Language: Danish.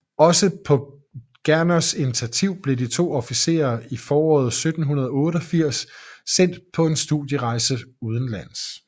Også på Gerners initativ blev de to officerer i foråret 1788 sendt på en studierejse udenlands